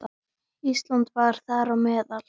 Ísland var þar á meðal.